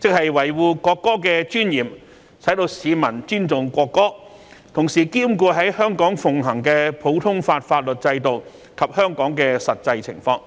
即維護國歌的尊嚴，使市民尊重國歌，同時兼顧在香港奉行的普通法法律制度及香港的實際情況。